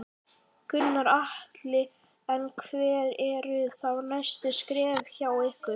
Gunnar Atli: En hver eru þá næstu skref hjá ykkur?